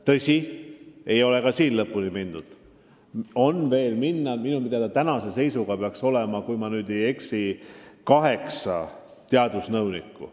Tõsi, päris lõpuni ei ole jõutud, jupp maad on veel minna: minu teada on tänase seisuga ametis kaheksa teadusnõunikku.